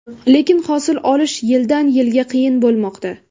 Lekin hosil olish yildan-yilga qiyin bo‘lmoqda.